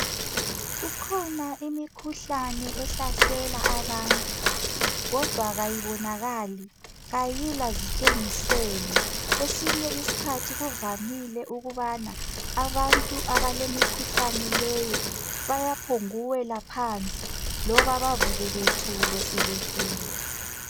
kukhona imikhuhlane ehlasela abantu kodwa kayibonakali ayila zitshengiselo kwesinye isikhathi kuvamile ukubana abantu abalemikhuhlane leyi bayaphokuwela phansi loba bakuke bethule sebefile